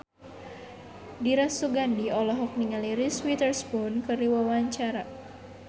Dira Sugandi olohok ningali Reese Witherspoon keur diwawancara